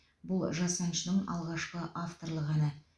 бұл жас әншінің алғашқы авторлық әні